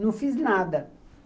Não fiz nada.